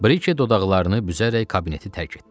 Brike dodaqlarını büzərək kabineti tərk etdi.